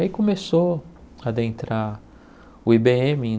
E aí começou a adentrar o I Bê êMe.